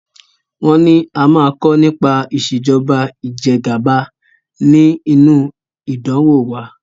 Wọn ní a a máa kọ nípa ìsèjọba ìjẹgàba ni inu ìdánwò wa.